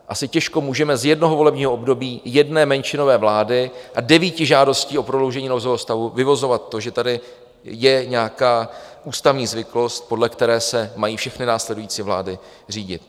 Asi těžko můžeme z jednoho volebního období jedné menšinové vlády a devíti žádostí o prodloužení nouzového stavu vyvozovat to, že tady je nějaká ústavní zvyklost, podle které se mají všechny následující vlády řídit.